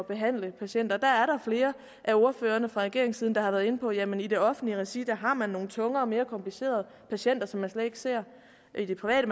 behandle patienter der er flere af ordførerne fra regeringssiden der har været inde på jamen i det offentlige regi har man nogle tungere og mere komplicerede patienter som de slet ikke ser i det private